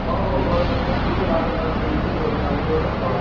ହଉ,, ହଉ,, ଘର କଥାଟା ବି ବୁଝ। ବାହାଘର ଫାଘର tension ରେ ଘର କଥା ବୁଝ।